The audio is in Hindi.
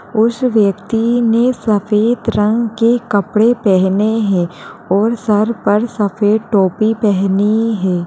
उस व्यक्ति ने सफ़ेद रंग के कपडे पहने है और सर पर सफ़ेद टोपी पहनी है |